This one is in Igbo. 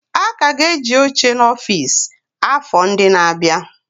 A ka ga-eji oche n'ọfịs, afọ ndị na-abịa.